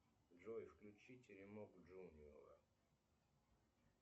джой включи теремок джуниора